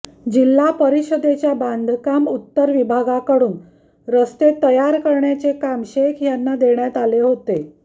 जिल्हा परिषदेच्या बांधकाम उत्तर विभागाकडून रस्ते तयार करण्याचे काम शेख यांना देण्यात आले होते